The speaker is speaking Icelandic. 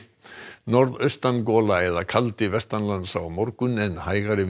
norðaustan gola eða kaldi vestanlands á morgun en hægari